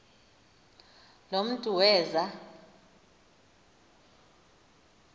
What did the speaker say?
lo mntu weza